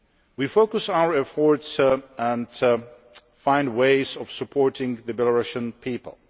We focus our efforts and find ways of supporting the Belarusian people.